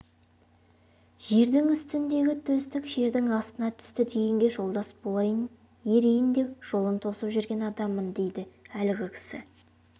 жердің үстіндегі төстік жердің астына түсті дегенге жолдас болып ерейін деп жолын тосып жүрген адаммын дейді әлгі кісі